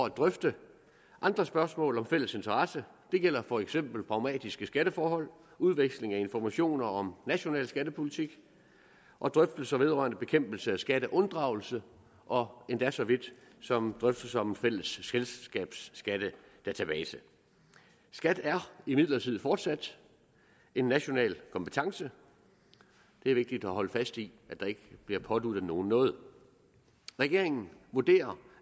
at drøfte andre spørgsmål af fælles interesse det gælder for eksempel pragmatiske skatteforhold udveksling af informationer om national skattepolitik og drøftelser vedrørende bekæmpelse af skatteunddragelse og endda så vidt som drøftelser om en fælles selskabsskattedatabase skat er imidlertid fortsat en national kompetence det er vigtigt at holde fast i at der ikke bliver påduttet nogen noget regeringen vurderer